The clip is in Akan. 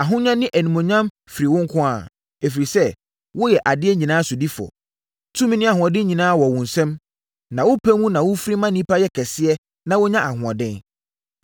Ahonya ne animuonyam firi wo nko ara, ɛfiri sɛ, woyɛ adeɛ nyinaa sodifoɔ. Tumi ne ahoɔden nyinaa wɔ wo nsam na wopɛ mu na wofiri ma nnipa yɛ kɛseɛ na wɔnya ahoɔden.